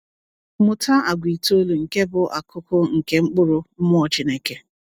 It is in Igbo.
Mụta àgwà itoolu nke bụ akụkụ nke mkpụrụ Mmụọ Chineke.